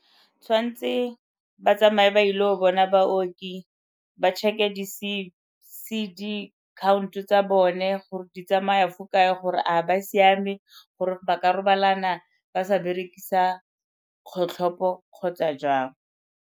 Tshwanetse ba tsamaye ba ile go bona baoki ba check-e di C_D count-o tsa bone gore di tsamaya fo kae gore a go siame gore ba ka robalana ba sa berekisa kgotlhopo kgotsa jang.